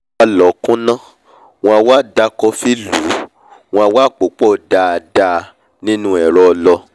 wọ́n á lọ̀ọ́ kúnná wọ́n á wá da kọfí lùú wọ́n a wá pòó pọ̀ dáadáa nínu ẹ̀rọ ọlọ